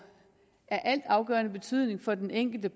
af altafgørende betydning for den enkelte